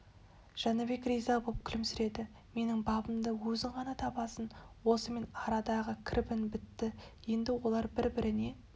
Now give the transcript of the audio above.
жәнібек риза боп күлімсіреді менің бабымды өзің ғана табасың осымен арадағы кірбің бітті енді олар бір-біріне